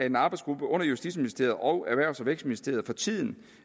at en arbejdsgruppe under justitsministeriet og erhvervs og vækstministeriet for tiden